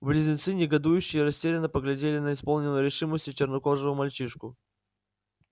близнецы негодующе растерянно поглядели на исполненного решимости чернокожего мальчишку